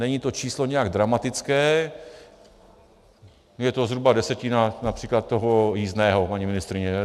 Není to číslo nijak dramatické, je to zhruba desetina například toho jízdného, paní ministryně.